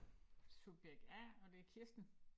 Subjekt A og det Kirsten